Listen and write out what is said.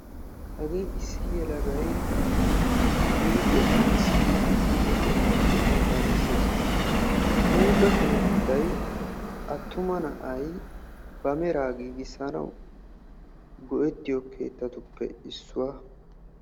Hagee issi yelagay huuphiya qanxxissdde huuphphe keettan de'iyaaga besee. huuphe keettay atuma asay ba meraa giigissoyobattuppe issuwa.